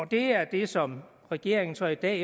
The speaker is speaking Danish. det er det som regeringen så i dag